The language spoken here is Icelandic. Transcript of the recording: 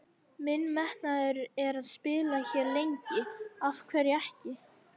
Minn metnaður er að spila hér lengi, af hverju ekki?